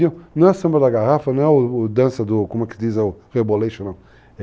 Não é samba da garrafa, não é o dança do, como é que se diz, o Rebolation, não.